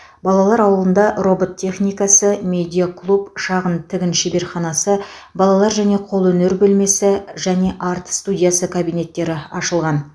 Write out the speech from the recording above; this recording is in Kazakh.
балалар ауылында робот техникасы медиа клуб шағын тігін шеберханасы балалар және қолөнер бөлмесі және арт студиясы кабинеттері ашылған